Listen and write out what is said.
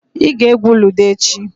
Ị ga-egwu ludo echi.